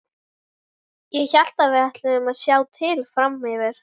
Ég hélt að við ætluðum að sjá til fram yfir.